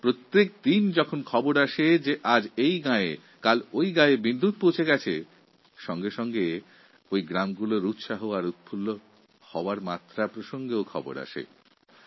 প্রতিদিন আমরা যখন জানতে পারি যে দেশের বিভিন্ন গ্রামে বিদ্যুৎ পৌঁছচ্ছে তখন সেই সব গ্রামের মানুষদের আনন্দ ও উচ্ছ্বাসের কথাও আমরা জানতে পারি